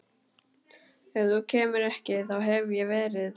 Ef þú kemur ekki þá hef ég verið